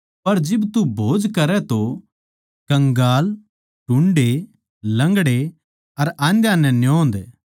पर जिब तू भोज करै तो कंगाल टुंडे लंगड़े अर आंध्याँ नै न्योंद